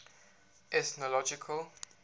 ethnological